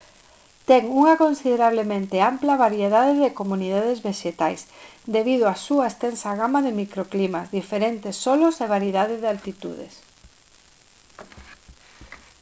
ten unha considerablemente ampla variedade de comunidades vexetais debido á súa extensa gama de microclimas diferentes solos e variedade de altitudes